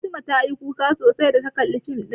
Fatima ta yi kuka sosai da ta kalla fim ɗin